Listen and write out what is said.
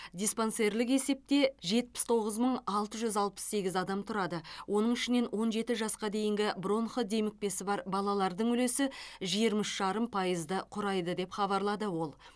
диспансерлік есепте жетпіс тоғыз мың алты жүз алпыс сегіз адам тұрады оның ішінен он жеті жасқа дейінгі бронх демікпесі бар балалардың үлесі жиырма үш жарым пайызды құрайды деп хабарлады ол